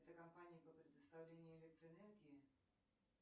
это компания по предоставлению электроэнергии